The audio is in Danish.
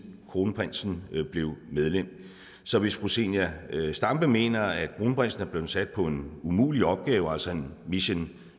kronprinsen blev medlem så hvis fru zenia stampe mener at kronprinsen er blevet sat på en umulig opgave altså en mission